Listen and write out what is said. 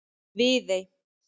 Viðey